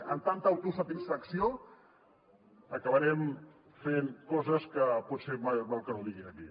amb tanta autosatisfacció acabarem fent coses que potser més val que no digui aquí